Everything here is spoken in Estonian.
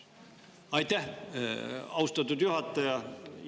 Aitäh, austatud juhataja!